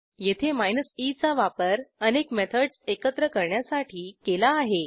येथे e चा वापर अनेक मेथडस एकत्र करण्यासाठी केला आहे